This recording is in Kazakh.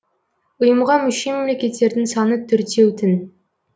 ұйымға мүше мемлекеттердің саны төртеу тін